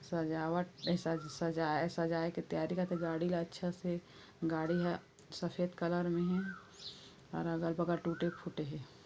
सजावट ये सज-सजाये की तैयारी करत थे गाड़ी ला अच्छा से गाड़ी ह सफ़ेद कलर में हे और अगल बगल टूटे फूटे हे ।